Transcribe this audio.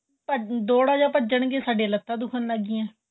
ਥੋੜਾ ਜਾਂ ਭੱਜਣ ਗਏ ਸਾਡੀਆਂ ਲੱਤਾਂ ਦੁੱਖਣ ਲੱਗ ਗਈਆਂ